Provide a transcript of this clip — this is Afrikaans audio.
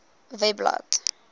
webblad